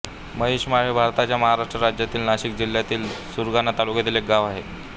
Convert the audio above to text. महिषमाळ हे भारताच्या महाराष्ट्र राज्यातील नाशिक जिल्ह्यातील सुरगाणा तालुक्यातील एक गाव आहे